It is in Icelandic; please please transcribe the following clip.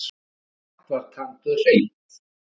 Allt var tandurhreint.